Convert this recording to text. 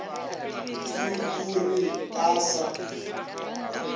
ke o re a sa